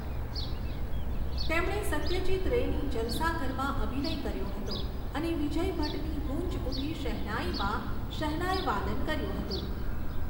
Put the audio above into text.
તેમણે સત્યજીત રેની 'જલસાઘર'માં અભિનય કર્યો હતો અને વિજય ભટ્ટની 'ગૂંજ ઊઠી શહનાઈ'માં શહનાઈવાદન કર્યું હતું.